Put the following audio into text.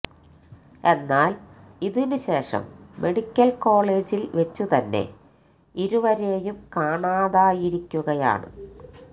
എന്നാല് ഇതിനു ശേഷം മെഡിക്കല് കോളേജില് വെച്ച് തന്നെ ഇരുവരേയും കാണാതായിരിക്കുകയാണ്